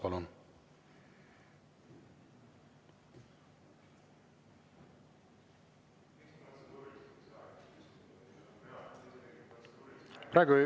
Palun!